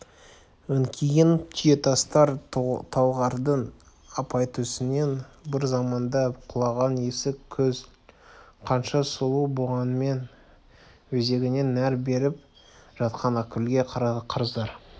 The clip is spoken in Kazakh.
өңкиген түйетастар талғардың апайтөсінен бір заманда құлаған есік көл қанша сұлу болғанмен өзегіне нәр беріп жатқан ақкөлге қарыздар